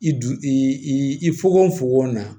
I du i i i i i fgon fokon na